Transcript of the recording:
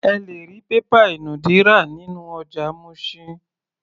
Ẹ lè rí pépà ìnùdí rà nínú ọjà Mushin.